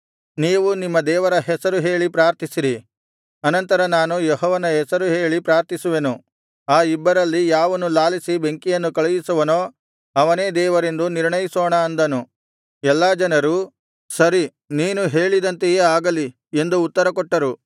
ನೀವು ನಿಮ್ಮ ದೇವರ ಹೆಸರು ಹೇಳಿ ಪ್ರಾರ್ಥಿಸಿರಿ ಅನಂತರ ನಾನು ಯೆಹೋವನ ಹೆಸರು ಹೇಳಿ ಪ್ರಾರ್ಥಿಸುವೆನು ಆ ಇಬ್ಬರಲ್ಲಿ ಯಾವನು ಲಾಲಿಸಿ ಬೆಂಕಿಯನ್ನು ಕಳುಹಿಸುವನೋ ಅವನೇ ದೇವರೆಂದೂ ನಿರ್ಣಯಿಸೋಣ ಅಂದನು ಎಲ್ಲಾ ಜನರು ಸರಿ ನೀನು ಹೇಳಿದಂತೆಯೇ ಆಗಲಿ ಎಂದು ಉತ್ತರಕೊಟ್ಟರು